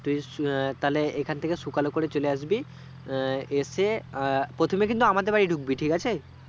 তাহলে এখান থেকে সুকাল করে চলে আসবি আহ এসে আ প্রথমে কিন্তু আমাদের বাড়ি ঢুকবি ঠিক আছে